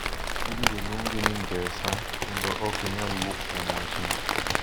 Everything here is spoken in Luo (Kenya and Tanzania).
ibiro luongi ni Ngesa kendo ok inyal wuok kuom wachno.